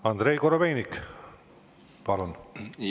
Andrei Korobeinik, palun!